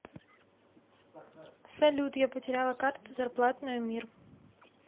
салют я потеряла карту зарплатную мир